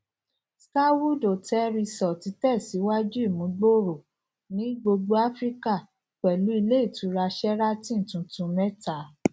starwood hotels resorts tẹsíwájú ìmúgbòòrò ní gbogbo áfíríkà pẹlú ilé ìtura sheraton tuntun mẹta